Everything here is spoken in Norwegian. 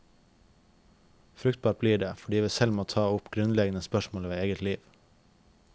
Fruktbart blir det, fordi vi selv må ta opp grunnleggende spørsmål ved eget liv.